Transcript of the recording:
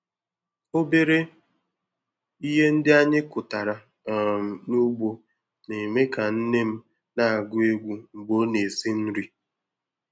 Obere ihe ndị anyị kụtara um n'ugbo na-eme ka nne m na-agụ egwu mgbe ọ na-esi nri.